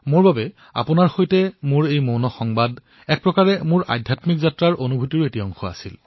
মোৰ বাবে আপোনালোকৰ সৈতে মোৰ এই মৌন সংবাদ এক প্ৰকাৰে মোৰ আধ্যাত্মিক যাত্ৰাৰ অনুভূতিৰ এক অংশ আছিল